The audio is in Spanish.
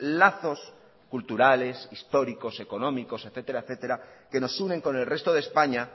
lazos culturales históricos económicos etcétera etcétera que nos unen con el resto de españa